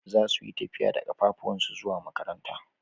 Zasu yi tafiya da kafafuwansu zuwa makaranta.